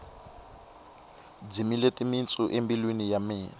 dzimile timitsu embilwini ya mina